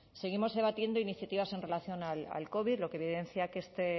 seguimos debatiendo iniciativas en relación al covid lo que evidencia que este